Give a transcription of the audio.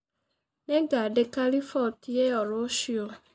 Nĩngandĩka rĩbotĩ ĩyo rũcĩũ.